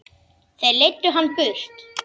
Þeir leiddu hann burt.